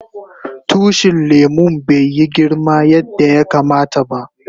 Tushin lemun bai yi girma yanda yakama ta ba.